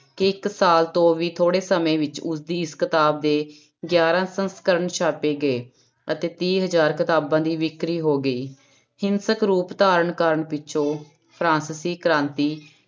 ਕਿ ਇੱਕ ਸਾਲ ਤੋਂ ਵੀ ਥੋੜ੍ਹੇ ਸਮੇਂ ਵਿੱਚ ਉਸਦੀ ਇਸ ਕਿਤਾਬ ਦੇ ਗਿਆਰਾਂ ਸੰਸਕਰਨ ਛਾਪੇ ਗਏ ਅਤੇ ਤੀਹ ਹਜ਼ਾਰ ਕਿਤਾਬਾਂ ਦੀ ਵਿਕਰੀ ਹੋ ਗਈ ਹਿੰਸਕ ਰੂਪ ਧਾਰਨ ਕਰਨ ਪਿੱਛੋਂ ਫਰਾਂਸਿਸੀ ਕ੍ਰਾਂਤੀ